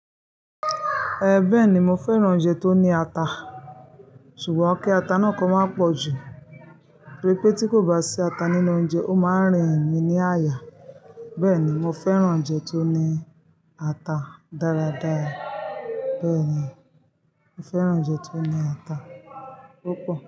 Ẹ beh ni mo fẹ́ràn oúnjẹ tó ní ata, ṣùgbọ́n kí ata náà kó má pọ̀ jù. Ríi pé tí kò bá sí ata nínú oúnjẹ, ó máa ń rìn mí ní àyà. Bẹ́ẹ̀ ni, mo fẹ́ràn oúnjẹ tó ní ata dáradára. Bẹ́ẹ̀ ni, mo fẹ́ràn oúnjẹ tó ní ata púpọ̀